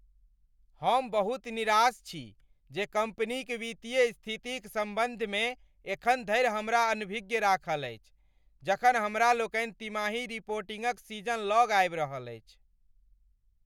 हम बहुत निराश छी जे कंपनी क वित्तीय स्थिति क सम्बन्ध में एखन धरि हमरा अनभिज्ञ राखल अछि जखन हमरा लोकनि तिमाही रिपोर्टिंग क सीजन लग आबि रहल अछि।